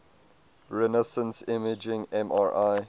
resonance imaging mri